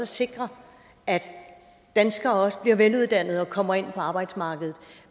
sikre at danskere også bliver veluddannet og kommer ind på arbejdsmarkedet